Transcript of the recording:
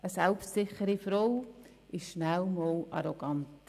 Eine selbstsichere Frau ist schnell einmal arrogant.